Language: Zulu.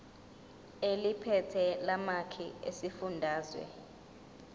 eliphethe lamarcl esifundazwe